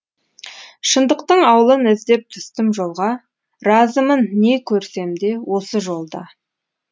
шындықтың аулын іздеп түстім жолға разымын не көрсем де осы жолда